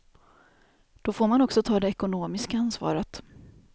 Då får man också ta det ekonomiska ansvaret.